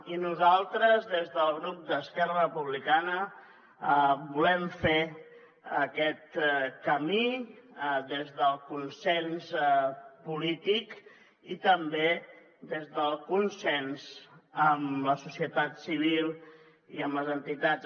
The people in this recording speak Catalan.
i nosaltres des del grup d’esquerra republicana volem fer aquest camí des del consens polític i també des del consens amb la societat civil i amb les entitats